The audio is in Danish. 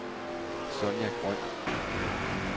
Sonja Grøn